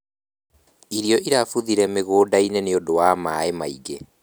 Irio irabuthĩire mũgũnda-inĩ nĩũndũ wa maaĩ maingĩ